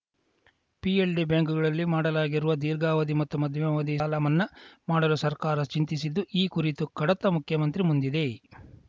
PLD ಬ್ಯಾಂಕುಗಳಲ್ಲಿ ಮಾಡಲಾಗಿರುವ ದೀರ್ಘಾವಧಿ ಮತ್ತು ಮಧ್ಯಮಾವಧಿಯ ಸಾಲ ಮನ್ನಾ ಮಾಡಲು ಸರ್ಕಾರ ಚಿಂತಿಸಿದ್ದು ಈ ಕುರಿತು ಕಡತ ಮುಖ್ಯಮಂತ್ರಿ ಮುಂದಿದೆ